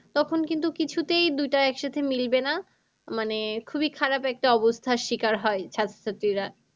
তখন কিন্তু কিছুতেই দুইটা একসাথে মিলবে না। মানে খুবই খারাপ একটা অবস্থার শিকার হয় ছাত্রছাত্রীরা।